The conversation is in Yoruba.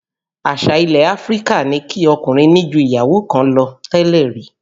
Àṣà ilẹ̀ Áfríkà ni kí ọkùnrin ní ju ìyàwó kan lọ tẹ́lẹ̀ rí